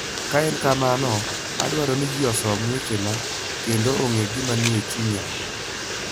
Ka en kamano, adwaro ni ji osom wechena kendo ong'e gima nie chunya.